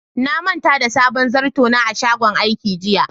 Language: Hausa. Na manta da sabon zarto na a shagon aiki jiya.